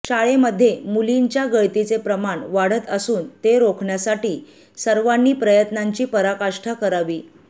शाळेमध्ये मुलींच्या गळतीचे प्रमाण वाढत असून ते रोखण्यासाठी सर्वांनी प्रयत्नांची पराकाष्ठा करावी